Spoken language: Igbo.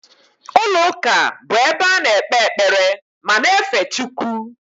Ụlọ ụka bụ ebe a na-ekpe ekpere ma na-efe Chukwu